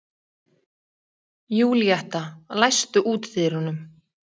Júlíetta, læstu útidyrunum.